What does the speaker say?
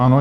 Ano.